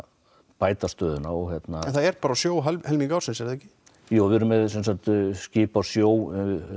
bæta stöðuna en það er bara á sjó helming ársins er það ekki jú við erum með skip á sjó